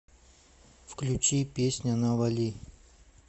включи песня навали